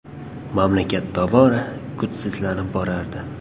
Mamlakat tobora kuchsizlanib borardi.